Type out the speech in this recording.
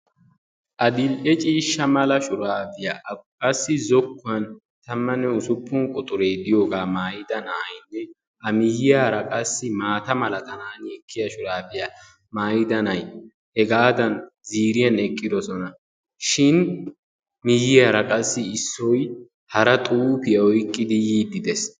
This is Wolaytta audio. adil'e ciishsha mala shuraabiya qassi zokkuwan tammanne usuppun quxure diyogaa maayida na'ayinne a miyyiyara qassi maata milatanaani ekkiyaga maayida na'ay hegaadan ziiriyan eqqiisonashin miyyiyaara qassi issoy hara xuufiya oyiqqidi yiiddi des.